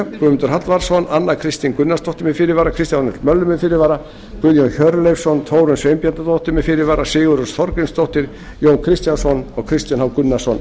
guðmundur hallvarðsson anna kristín gunnarsdóttir með fyrirvara kristján l möller með fyrirvara guðjón hjörleifsson þórunn sveinbjarnardóttir með fyrirvara sigurrós þorgrímsdóttir jón kristjánsson og kristinn h gunnarsson